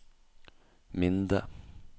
Minde